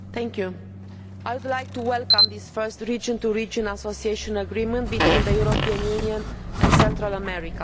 Mr President, I would like to welcome this first region to region association agreement between the European Union and Central America.